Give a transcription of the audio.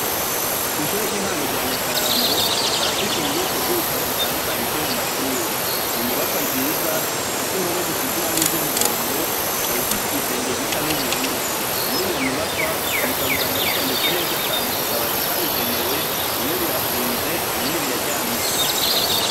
Kw'ishure ry'intango rya Nyakarambo barafise ububiko bw'ibitabo bitandukanye vyo mu mashure, n'inyubakwa nziza, ifise impome zisize ibara ry'umuhondo, ikaba ifise igisenge gisa n'ubururu, muriyo nyubakwa ibitabo usanga bitondetse neza cane ku kabati kabigenewe, bimwe birashinze, ibindi biraryamitse.